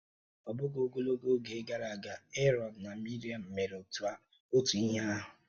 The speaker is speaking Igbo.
Ọ bụghị ogologo oge gara aga, Eron na Miriam mere otu ihe ahụ.